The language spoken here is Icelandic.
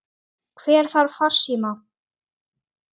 Hvort lagið, hvort viltu fá?